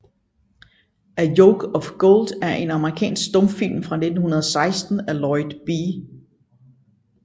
A Yoke of Gold er en amerikansk stumfilm fra 1916 af Lloyd B